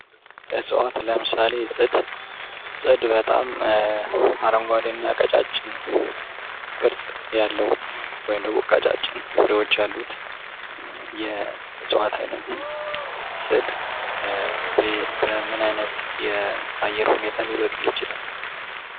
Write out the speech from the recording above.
እፅዋት ለምሳሌ ፅድ አረንጓዴና በጣም ቀጫጭን ቅርፅ ያለዉ ወይም ደግሞ ቀጫጭን ፍሬዎች ያሉት የእፅዋት አይነት ነዉ። ፅድ በምን አይነት አየር ሁኔታ ሊበቅል ይችላል?